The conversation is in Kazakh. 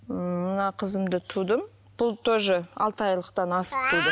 ммм мына қызымды тудым бұл тоже алты айлықтан асып туды